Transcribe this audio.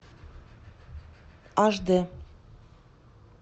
аш дэ